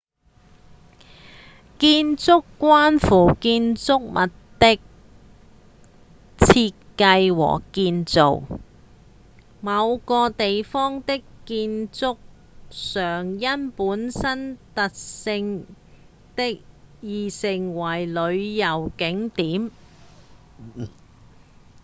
建築關乎建築物的設計和建造某個地方的建築常因本身特色而成為旅遊景點